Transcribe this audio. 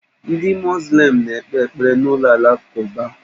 Ndị muzlịm na-ekpe ekpere na ụlọ alakụba.